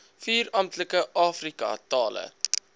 vier amptelike afrikatale